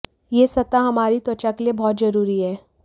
ये सतह हमारी त्वचा के लिए बहुत जरूरी है